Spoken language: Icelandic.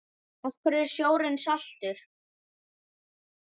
Af hverju er sjórinn saltur?